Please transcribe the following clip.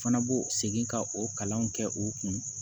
Fana b'o segin ka o kalanw kɛ o kun